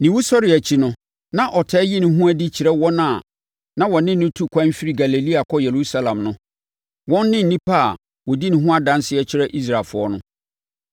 ne wusɔreɛ akyi no, na ɔtaa yi ne ho adi kyerɛ wɔn a na wɔne no tu kwan firi Galilea kɔ Yerusalem no. Wɔn ne nnipa a wɔdi ne ho adanseɛ kyerɛ Israelfoɔ no.